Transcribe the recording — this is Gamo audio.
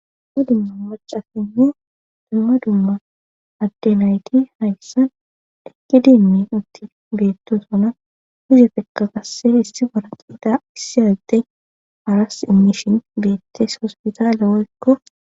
ddumma dimma macafinne dumma dumma addenayti hayssan ekki dinmi utti beetto sona hizefeka kasse issi boraxida issi addey aras imishin beettes hospitaale woykko